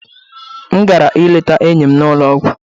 M gara ileta enyi m n'ụlọ ọgwụ